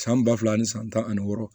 San ba fila ani san tan ani wɔɔrɔ